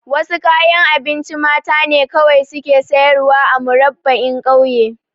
Wasu kayan abinci mata ne kawai suke sayarwa a Murabba'in ƙauye